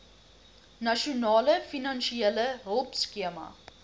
nasionale finansiële hulpskema